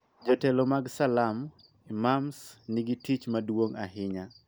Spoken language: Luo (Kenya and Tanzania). Jotelo mag Salam (Imams) nigi tich maduong� ahinya